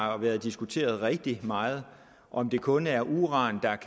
har været diskuteret rigtig meget om det kun er uran